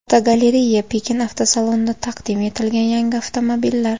Fotogalereya: Pekin avtosalonida taqdim etilgan yangi avtomobillar.